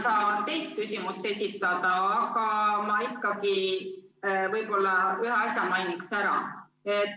Ma ei saa teist küsimust esitada, aga võib-olla ikkagi ühe asja mainiksin ära.